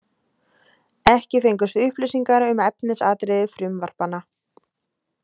Ekki fengust upplýsingar um efnisatriði frumvarpanna